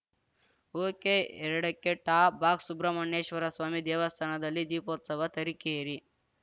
ಒಕೆಎರಡಕ್ಕೆ top box Subrahmanyeshwaraswamy ದೇವಸ್ಥಾನದಲ್ಲಿ ದೀಪೋತ್ಸವ ತರೀಕೆರೆ